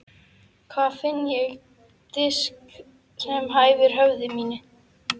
Hvar finn ég disk sem hæfir höfði mínu?